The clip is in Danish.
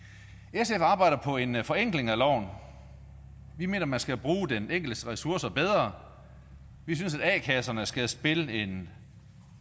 sf arbejder på en forenkling af loven vi mener man skal bruge den enkeltes ressourcer bedre vi synes at a kasserne skal spille en